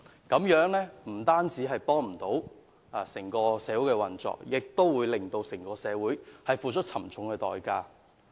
這樣不單不利於社會運作，社會亦須付出沉重代價。